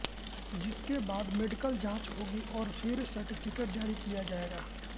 जिसके बाद मेडिकल जांच होगी और फिर सर्टिफिकेट जारी किया जाएगा